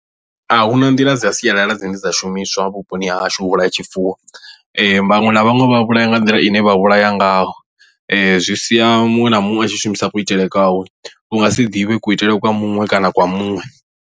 A hu na nḓila dza sialala dzine dza shumiswa vhuponi hahashu u vhulaya tshifuwo vhaṅwe na vhaṅwe vha vhulaya nga nḓila ine vha vhulaya ngayo zwi sia muṅwe na muṅwe a tshi shumisa kuitele kwawe u nga si ḓivhe kuitele kwa muṅwe kana kwa muṅwe.